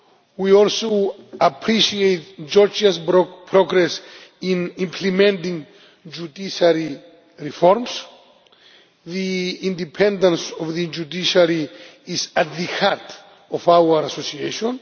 the media. We also appreciate Georgia's progress in implementing judiciary reforms. The independence of the judiciary is at the heart of our association.